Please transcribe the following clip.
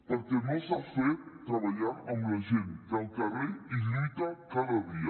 perquè no s’ha fet treballant amb la gent que al carrer hi lluita cada dia